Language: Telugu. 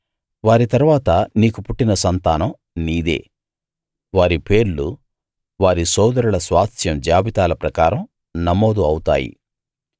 వారి తరువాత నీకు పుట్టిన సంతానం నీదే వారి పేర్లు వారి సోదరుల స్వాస్థ్యం జాబితాల ప్రకారం నమోదు అవుతాయి